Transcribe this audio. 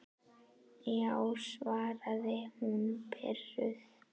Já, svaraði hún pirruð.